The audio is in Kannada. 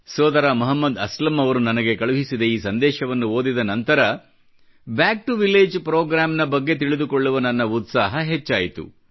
ಸೋದರ ಮೊಹಮ್ಮದ್ ಅಸ್ಲಂ ಅವರು ನನಗೆ ಕಳಿಸಿದ ಈ ಸಂದೇಶವನ್ನು ಓದಿದ ನಂತರ ಬ್ಯಾಕ್ ಟಿಒ ವಿಲ್ಲಗೆ ಪ್ರೋಗ್ರಾಮ್ ನ ಬಗ್ಗೆ ತಿಳಿದುಕೊಳ್ಳುವ ನನ್ನ ಉತ್ಸಾಹ ಹೆಚ್ಚಾಯಿತು